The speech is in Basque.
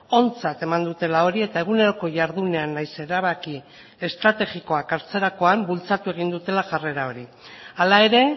ontzat eman dutela hori eta eguneroko jardunean nahiz erabaki estrategikoak hartzerakoan bultzatu egin dutela jarrera hori hala ere